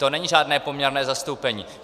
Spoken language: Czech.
To není žádné poměrné zastoupení.